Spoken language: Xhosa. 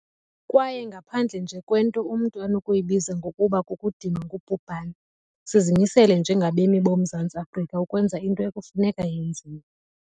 Kwaye ngaphandle nje kwento umntu anokuyibiza ngokuba 'kukudinwa ngubhubhane', sizimisele njengabemi boMzantsi Afrika ukwenza into ekufuneka yenziwe.